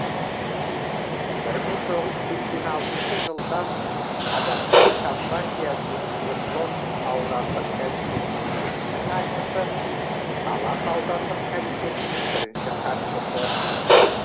бір мың тоғыз жүз сексен алтыншы жылдан қазақстан компартиясы свердловск аудандық комитетінің екінші хатшысы талас аудандық комитетінің бірінші хатшысы